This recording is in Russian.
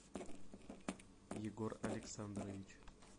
егор александрович